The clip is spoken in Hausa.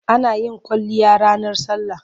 Ana yin kwalliya ranar sallah.